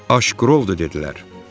Aşqırovdu, dedilər.